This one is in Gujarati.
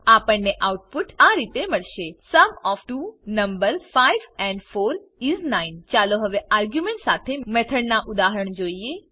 આપણને આઉટપુટ આ રીતે મળેશે sum of two numbers 5 and 4 is 9 ચાલો હવે આર્ગ્યુંમેંટ શાથે મેથડના ઉદાહરણ જોઈએ